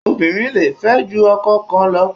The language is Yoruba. Obìnrin le fẹ́ ju ọkọ kan lọ.